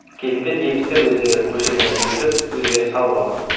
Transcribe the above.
кезінде немістер өздері көшелерін түзелеп өздері салып алған